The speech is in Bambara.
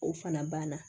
O fana banna